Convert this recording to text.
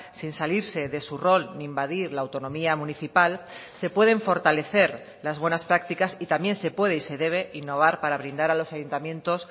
sin salirse de su rol ni invadir la autonomía municipal se pueden fortalecer las buenas prácticas y también se puede y se debe innovar para brindar a los ayuntamientos